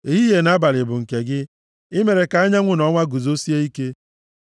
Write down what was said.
Ehihie na abalị bụ nke gị. I mere ka anyanwụ na ọnwa guzosie ike.